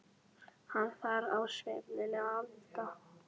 Hann þarf á svefninum að halda.